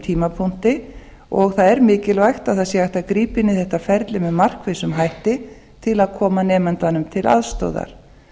tímapunkti og það er mikilvægt að það sé hægt að grípa inn í þetta ferli með markvissum hætti til að koma nemandanum til aðstoðar